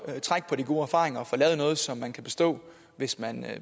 trække på de gode erfaringer og få lavet noget som man kan bestå hvis man